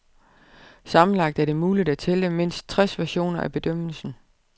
Sammenlagt er det muligt at tælle mindst tres versioner af bedømmelsen.